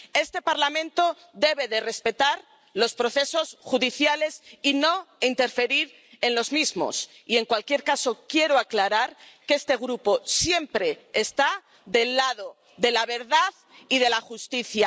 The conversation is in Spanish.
Este Parlamento debe respetar los procesos judiciales y no interferir en los mismos, y, en cualquier caso, quiero aclarar que este Grupo siempre está del lado de la verdad y de la justicia.